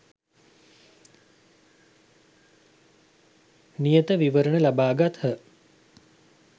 නියත විවරණ ලබා ගත්හ.